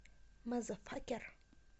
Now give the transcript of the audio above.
мазафакер